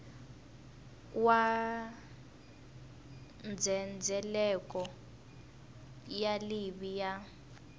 wa ndzhendzheleko wa livhi ya